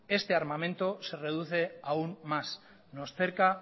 este armamento se reduce aún más nos cerca